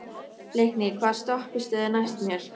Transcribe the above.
Leikný, hvaða stoppistöð er næst mér?